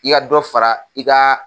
I ka dɔ fara i ka